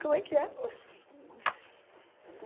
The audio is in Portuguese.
Como é que é?